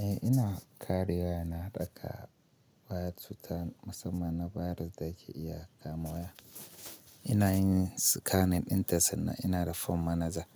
Eh ina karya yana haɗaka wire to tan musamman na virus da ke iya kamuwa. Ina yin scanning in dasa ina da form manager